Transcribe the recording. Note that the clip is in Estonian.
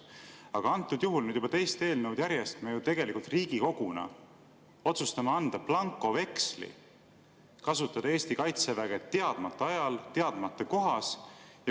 Aga antud juhul nüüd juba teist eelnõu järjest me ju tegelikult Riigikoguna otsustame anda blankoveksli kasutada Eesti kaitseväge teadmata ajal teadmata kohas.